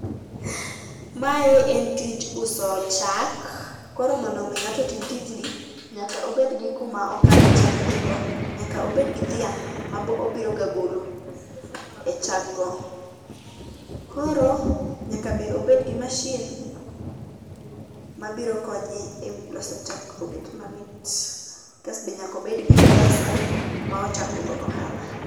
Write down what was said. Mae en tij uso chak, koro mondo mi ng'ato otim tijni, nyaka obed gi kuma okane chagenego. Nyaka obed gi dhiang' ma obiroga golo e chag go. Koro nyaka be obed gim masin mabiro konye loso chak obed mamit. Kasto be nyaka obed gi pesa ma ochako go ohala.